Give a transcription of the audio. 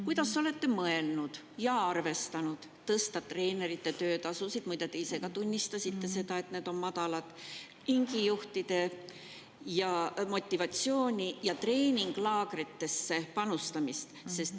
Kuidas olete mõelnud tõsta treenerite töötasusid – muide, te ise ka tunnistasite, et need on madalad –, ringijuhtide motivatsiooni ja treeninglaagritesse panustamist?